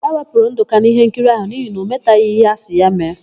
E wepụrụ Ndụka n'íhénkiri áhụ̀ n'ihi na ọ metaghị íhé asị ya mee.